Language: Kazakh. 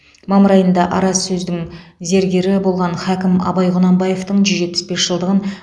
мамыр айында араз сөздің зергері болған хакім абай құнанбаевтың жүз жетпіс бес жылдығын